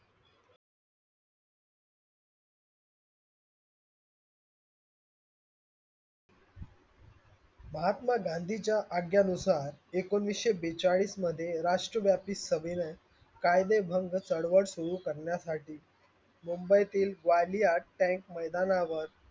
महात्मा गांधींच्या आज्ञेनुसार एकोणवीसशे बेचाळीस मध्ये राष्ट्रव्यापी सभेने कायदेभंग चळवळ सुरु करण्यासाठी मुंबईतील ग्वालियर tank मैदानावर,